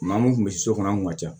Maa min kun bɛ so kɔnɔ an kun ka ca